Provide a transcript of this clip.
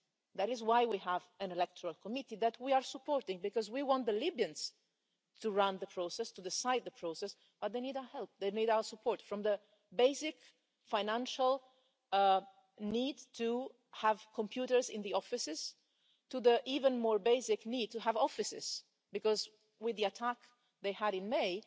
that is why we have an electoral committee that we are supporting, because we want the Libyans to run the process, to decide the process, but they need our help, they need our support, from the basic financial need to have computers in the offices to the even more basic need to have offices, because with the attack they had in May,